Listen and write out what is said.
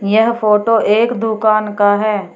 यह फोटो एक दुकान का है।